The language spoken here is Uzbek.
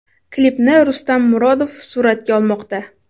Klipni Rustam Murodov suratga olmoqda.